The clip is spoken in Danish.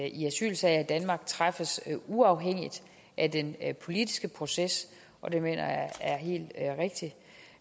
i asylsager i danmark træffes uafhængigt af den politiske proces og det mener jeg